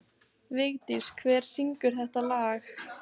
Vigdís, hver syngur þetta lag?